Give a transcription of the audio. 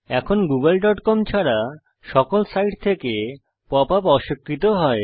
এখন googleকম ছাড়া সকল সাইট থেকে পপ আপ অস্বীকৃত হয়